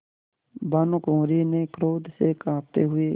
भानुकुँवरि ने क्रोध से कॉँपते हुए